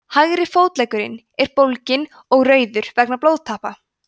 hægri fótleggurinn er bólginn og rauður vegna blóðtappa